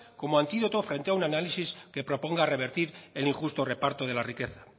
como antídoto frente a un análisis que proponga revertir el injusto reparto de la riqueza